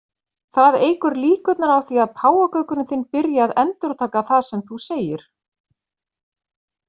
Það eykur líkurnar á því að páfagaukurinn þinn byrji að endurtaka það sem þú segir.